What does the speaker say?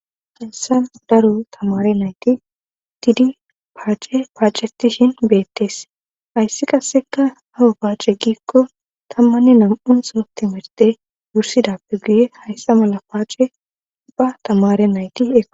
Hassan daro tamare nayti tidi paace paacetishin beettees hayssi qasseka hawo paace giikko tammanni nam'un so timirte wursidappe guye hayssa mala paace bba tamare nayti eo.